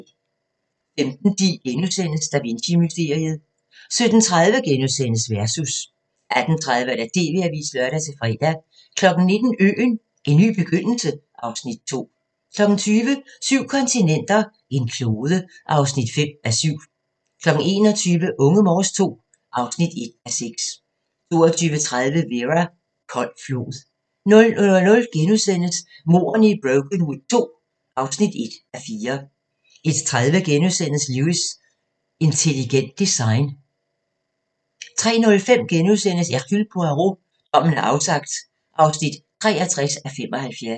15:10: Da Vinci-mysteriet * 17:30: Versus * 18:30: TV-avisen (lør-fre) 19:00: Øen - en ny begyndelse (Afs. 5) 20:00: Syv kontinenter, en klode (5:7) 21:00: Unge Morse II (1:6) 22:30: Vera: Kold flod 00:00: Mordene i Brokenwood II (1:4)* 01:30: Lewis: Intelligent design * 03:05: Hercule Poirot: Dommen er afsagt (63:75)*